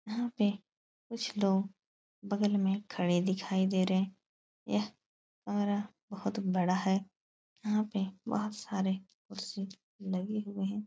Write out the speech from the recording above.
यहाँ पे कुछ लोग बगल में खड़े दिखाई दे रहे हैं। यह कमरा बोहोत बड़ा है। यहाँ पे बहोत सारे कुर्सी लगे हुए हैं।